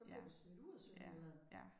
Så blev de smidt ud af Sønderjylland